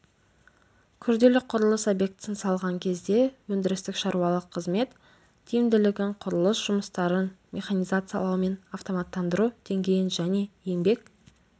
күрделі құрылыс объектісін салған кезде өндірістік-шаруашылық қызмет тиімділігін құрылыс жұмыстарын механизациялау мен автоматтандыру деңгейін және еңбек